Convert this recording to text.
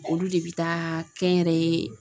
Olu de bi taa kɛnyɛrɛye